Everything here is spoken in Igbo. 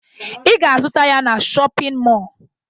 Ị ga-azụta ya na shọpịn mọọ